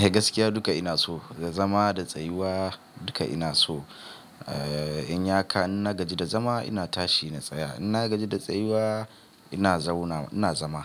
Eh gaskiya duka ina so, da zama da tsayuwa duka ina so. Eh, in ya ka ina gaji da zama ina tashi na tsaya. Ina gaji da tsayuwa ina zauna ina zama,